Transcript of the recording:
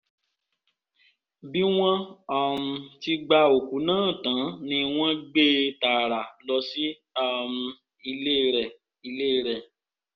bí wọ́n um ti gba òkú náà tán ni wọ́n gbé e tààrà lọ sí um ilé rẹ̀ ilé rẹ̀